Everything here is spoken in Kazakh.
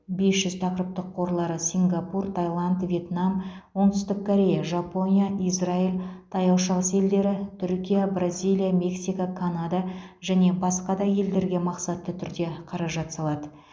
бес жүз тақырыптық қорлары сингапур таиланд вьетнам оңтүстік корея жапония израиль таяу шығыс елдері түркия бразилия мексика канада және басқа да елдерге мақсатты түрде қаражат салады